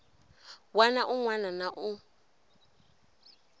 wana un wana na un